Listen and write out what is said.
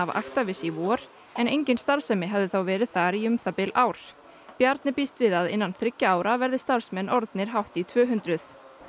Actavis í vor en engin starfsemi hafði þá verið þar í um það bil ár Bjarni býst við að innan þriggja ára verði starfsmenn orðnir hátt í tvö hundruð